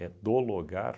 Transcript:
do lugar.